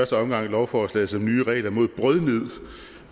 omgang lovforslaget som nye regler mod brødnid